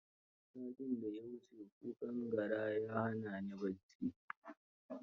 Satin da ya wuce kukan gyare ya hana ni bacci.